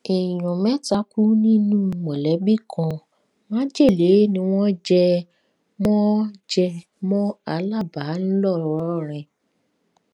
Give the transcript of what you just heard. èèyàn mẹta kú nínú mọlẹbí kan májèlé ni wọn jẹ mọ jẹ mọ alábà ńlọrọrìn